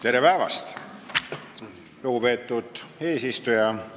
Tere päevast, lugupeetud eesistuja!